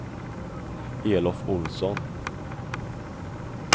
Elof Ohlsson